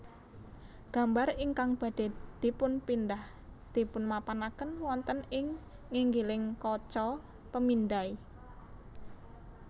Gambar ingkang badhé dipunpindhah dipunmapanaken wonten ing nginggiling kaca pemindai